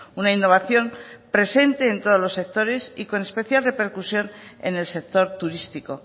una innovación presente en todos los sectores y con especial repercusión en el sector turístico